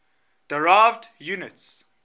derived units